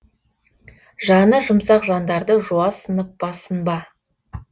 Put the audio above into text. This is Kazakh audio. жаны жұмсақ жандарды жуассынып басынба